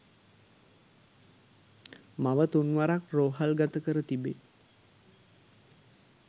මව තුන්වරක් රෝහල්ගත කර තිබේ.